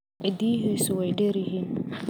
Ciddiyihiisu way dheer yihiin.